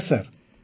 ନମସ୍କାର ସାର୍